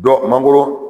Dɔ mangoro